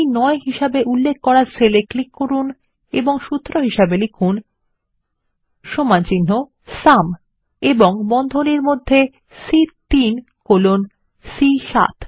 C9 হিসেবে উল্লেখ করা সেল এ ক্লিক করুন এবং সূত্র লিখুন আইএস ইকুয়াল টো সুম এবং র্বন্ধনীর মধ্যে সি3 কোলন সি7